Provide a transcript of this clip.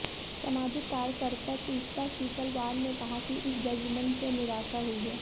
सामाजिक कार्यकर्ता तीस्ता सीतलवाड़ ने कहा कि इस जजमेंट से निराशा हुई है